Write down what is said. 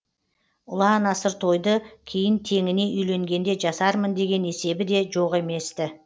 ұлан асыр тойды кейін теңіне үйленгенде жасармын деген есебі де жоқ емес ті